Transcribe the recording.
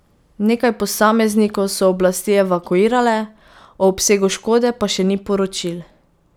Nekaj posameznikov so oblasti evakuirale, o obsegu škode pa še ni poročil.